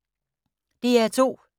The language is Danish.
DR2